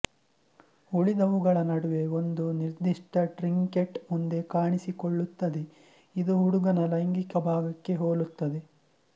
ಉಳಿದವುಗಳ ನಡುವೆ ಒಂದು ನಿರ್ದಿಷ್ಟ ಟ್ರಿಂಕೆಟ್ ಮುಂದೆ ಕಾಣಿಸಿಕೊಳ್ಳುತ್ತದೆ ಇದು ಹುಡುಗನ ಲೈಂಗಿಕ ಭಾಗಕ್ಕೆ ಹೋಲುತ್ತದೆ